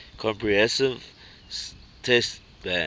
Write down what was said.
comprehensive test ban